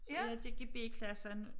Og jeg gik i b klassen